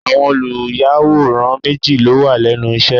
Àwọn olùyàwòrán méjì ló wà lẹ́nu iṣẹ́.